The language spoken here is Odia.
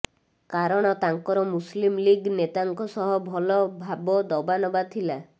କାରଣ ତାଙ୍କର ମୁସଲିମ ଲିଗ୍ ନେତାଙ୍କ ସହ ଭଲ ଭାବ ଦବା ନବା ଥିଲା